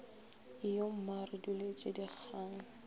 ijo mma re duletše dikgang